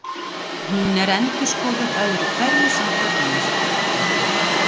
Hún er endurskoðuð öðru hverju samkvæmt nýjustu þekkingu.